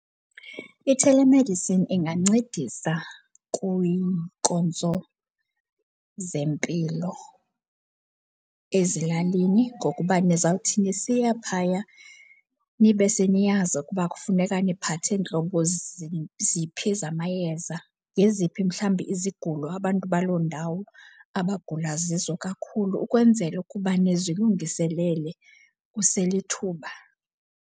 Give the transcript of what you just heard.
I-telemedicine ingancedisa kwiinkonzo zempilo ezilalini ngokuba nizawuthi nisiya phaya nibe seniyazi ukuba kufuneka niphathe ntlobo ziphi zamayeza. Zeziphi mhlawumbi izigulo abantu baloo ndawo abagula zizo kakhulu ukwenzela ukuba nizilungiselele kuselithuba.